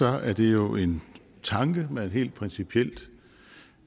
er det jo en tanke man helt principielt